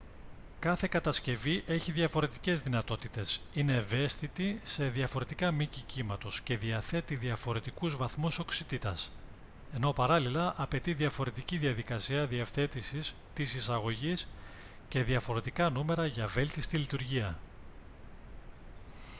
κάθε κατασκευή έχει διαφορετικές δυνατότητες είναι ευαίσθητη σε διαφορετικά μήκη κύματος και διαθέτει διαφορετικούς βαθμούς οξύτητας ενώ παράλληλα απαιτεί διαφορετική διαδικασία διευθέτησης της εισαγωγής και διαφορετικά νούμερα για βέλτιστη λειτουργία